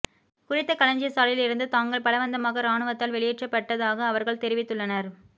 குறித்த களஞ்சிய சாலையில் இருந்து தாங்கள் பலவந்தமாக இராணுவத்தால் வெளியேற்றப்பட்டதாக அவர்கள் தெரிவித்துள்ளனர்